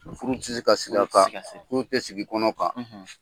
Furu ti se ka sigi a kan . Furu tɛ sigi kɔnɔ kan.